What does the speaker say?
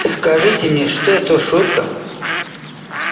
скажите мне что это шутка